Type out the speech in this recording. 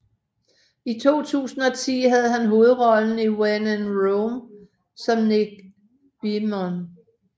I 2010 havde han hovedrollen i When in Rome som Nick Beamon